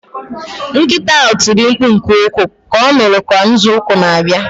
Nkịta ahụ tiri mkpu nke ukwuu ka ọ nụrụ ka nzọụkwụ na-abịa